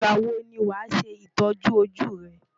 Ìgbà wo ni wàá ṣe ìtọ́jú ojú rẹ?